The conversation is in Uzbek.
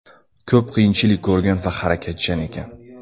Ko‘p qiyinchilik ko‘rgan va harakatchan ekan.